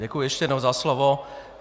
Děkuji ještě jednou za slovo.